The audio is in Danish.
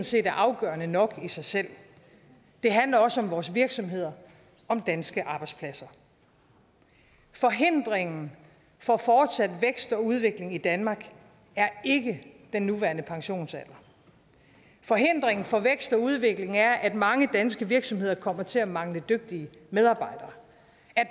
set er afgørende nok i sig selv det handler også om vores virksomheder og danske arbejdspladser forhindringen for fortsat vækst og udvikling i danmark er ikke den nuværende pensionsalder forhindringen for vækst og udvikling er at mange danske virksomheder kommer til at mangle dygtige medarbejdere